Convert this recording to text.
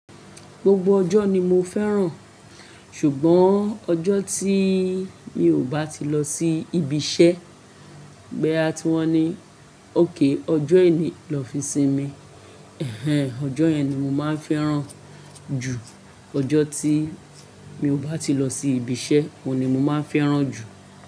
Gbogbo ọjọ́ ni mo fẹ́ràn, ṣùgbọ́n ọjọ́ tí mi ò bá ti lọ sí ibi iṣẹ́, gbé à tiwọn ni ok ọjọ́ ení lọ fi sinmi, ẹhen ọjọ́ yẹn ni mo máa ń fẹ́ràn jù. Ọjọ́ tí mi ò bá ti lọ sí ibi iṣẹ́, oun ni mo máa ń fẹ́ràn jù.